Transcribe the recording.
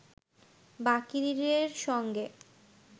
বাকিরের সঙ্গে